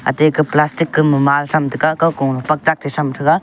teke plastic kema ma tam taga ka ko pak chak the tham taga.